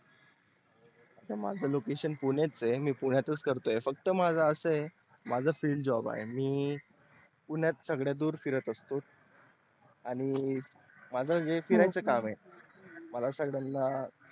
माझ location पुणे च आहे मी पुण्यातच करतो आहे फक्त माझ आस आहे माझ field job आहे मी पुण्यात संगळ्यातून फिरत असतो आणि माझ जे way फिरायच काम आहे